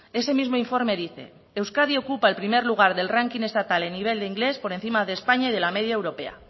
ese mismo informe dice euskadi ocupa el primer lugar del ranking estatal en nivel de inglés por encima de españa y de la media europea